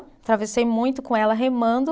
Atravessei muito com ela, remando.